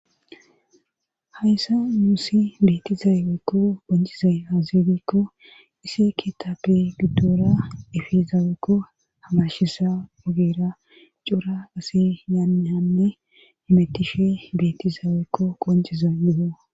Hayssa muusi beetizaweykko boncizay hazidikko isi ketape giddora efizaaweekko hamashisa ogeera cora asi yaannehanne imettishi betizaaweekko qonceza yuho